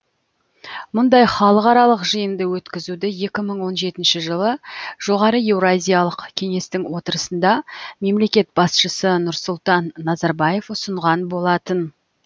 мұндай халықаралық жиынды өткізуді екі мың он жетінші жылы жоғары еуразиялық кеңестің отырысында мемлекет басшысы нұрсұлтан назарбаев ұсынған болатын